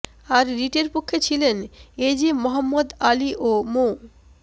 আর রিটের পক্ষে ছিলেন এজে মোহাম্মদ আলী ও মো